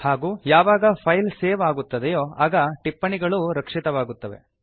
ಹಾಗೂ ಯಾವಾಗ file save ಆಗುತ್ತದೋ ಆಗ ಟಿಪ್ಪಣಿಗಳೂ ರಕ್ಷಿತವಾಗುತ್ತವೆ